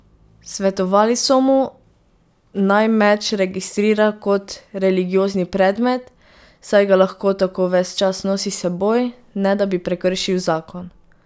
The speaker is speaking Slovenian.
Svetovali so mu, naj meč registrira kot religiozni predmet, saj ga lahko tako ves čas nosi s seboj, ne da bi prekršil zakon.